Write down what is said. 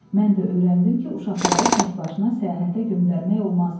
Mən də öyrəndim ki, uşaqları təkbaşına səyahətə göndərmək olmaz.